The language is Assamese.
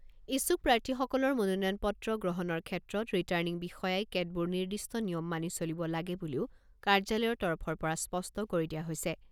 ইচ্ছুক প্ৰাৰ্থীসকলৰ মনোনয়ন পত্ৰ গ্ৰহণৰ ক্ষেত্ৰত ৰিটাৰ্ণিং বিষয়াই কেতবোৰ নিৰ্দিষ্ট নিয়ম মানি চলিব লাগে বুলিও কাৰ্যালয়ৰ তৰফৰ পৰা স্পষ্ট কৰি দিয়া হৈছে।